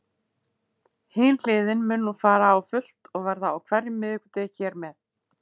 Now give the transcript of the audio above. Hin hliðin mun nú fara á fullt og verða á hverjum miðvikudegi hér með.